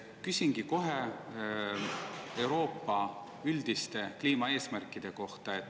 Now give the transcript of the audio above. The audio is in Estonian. Küsingi kohe Euroopa üldiste kliimaeesmärkide kohta.